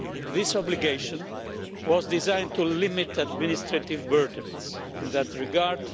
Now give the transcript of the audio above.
This obligation was designed to limit administrative burdens in that regard.